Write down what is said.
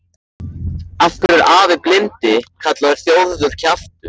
Af hverju er afi blindi kallaður Þórður kjaftur?